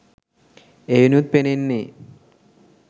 එයිනුත් පෙනෙන්නේ